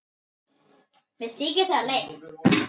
Mér þykir það leitt.